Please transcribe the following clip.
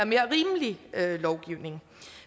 mere rimelig lovgivning